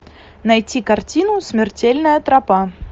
найти картину смертельная тропа